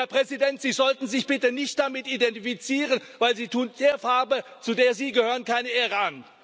Und, Herr Präsident, Sie sollten sich bitte nicht damit identifizieren, denn Sie tun der Farbe, zu der Sie gehören, keine Ehre an.